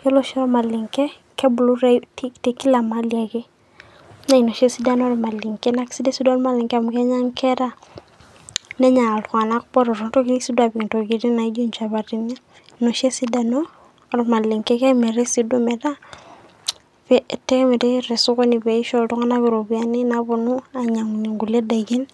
Yiolo oshi olmalenke, kebulu te kila mahali ake. Na ina oshi esidano olmalenke. Esidai si duo olmalenke amu enya nkera, nenya iltung'anak botoro. Enotoki si duo apik intokiting' naijo inchapatini, ina oshi esidano olmalenke. Kemiri si duo ometaa, kemiri tosokoni peisho iltung'anak iropiyiani naponu ainyang'unye nkulie daikin.